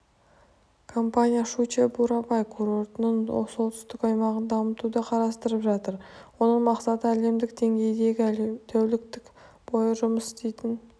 компания щучье-бурабай курортының солтүстік аймағын дамытуды қарастырып жатыр оның мақсаты әлемдік деңгейдегі тәулік бойы жұмыс істейтін